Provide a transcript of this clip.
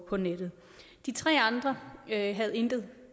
på nettet de tre andre havde intet